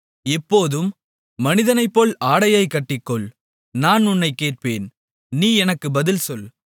இப்போதும் மனிதனைப்போல் ஆடையைக்கட்டிக்கொள் நான் உன்னைக் கேட்பேன் நீ எனக்குப் பதில் சொல்